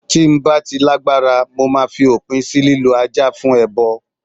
Tí ń bá ti lágbára, mo máa fi òpin sì lílọ Ajá fún ẹbọ.